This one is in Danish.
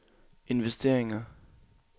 investeringer